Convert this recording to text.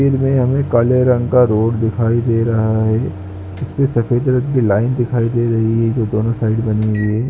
फिर मे हमें काले रंग का रोड दिखाई दे रहा है इस पे सफेद रंग की लाइन दिखाई दे रही है जो दोनों साइड बनी हुई है।